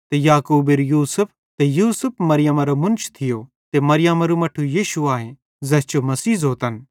ते याकूबेरू यूसुफ ते यूसुफ मरियमरो मुन्श थियो ते मरियमरू मट्ठू यीशु आए ज़ैस जो मसीह ज़ोतन